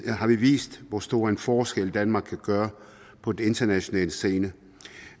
har vi vist hvor stor forskel danmark kan gøre på den internationale scene